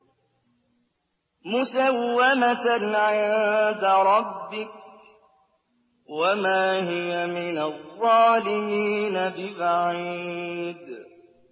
مُّسَوَّمَةً عِندَ رَبِّكَ ۖ وَمَا هِيَ مِنَ الظَّالِمِينَ بِبَعِيدٍ